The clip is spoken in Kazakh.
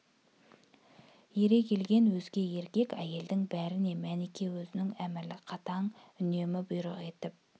ере келген өзге еркек-әйелдің бәріне мәніке өзінің әмірлі қатаң үнімен бұйрық етіп